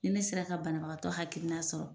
Ni ne sera ka bana bagatɔ hakilina sɔrɔ